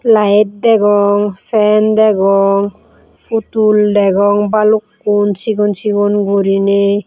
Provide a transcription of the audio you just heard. light degong fan degong putul degong balukko sigon sigon guriney.